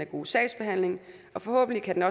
god sagsbehandling og forhåbentlig kan